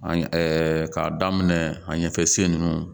An ye k'a daminɛ a ɲɛfɛ sen nunnu